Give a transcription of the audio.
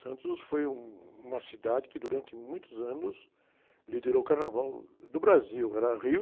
Santos foi um, uma cidade que durante muitos anos liderou o carnaval do Brasil, era Rio